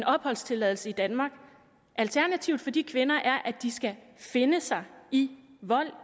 opholdstilladelse i danmark alternativet for de kvinder er at de skal finde sig i vold